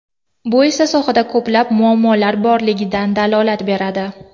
Bu esa sohada ko‘plab muammolar borligidan dalolat beradi.